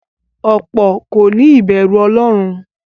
Ọ̀pọ̀ kòní ìbẹ̀rù ọlọ́run.